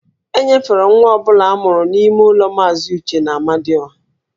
E nyefere nwa ọ bụla a mụrụ n'ime ụlọ Maazị Uche n'Amadịọha